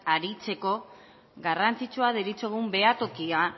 aritzeko garrantzitsua deritzogun behatokia